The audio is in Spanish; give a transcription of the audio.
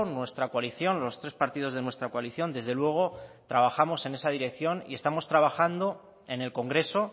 nuestra coalición los tres partidos de nuestra coalición desde luego trabajamos en esa dirección y estamos trabajando en el congreso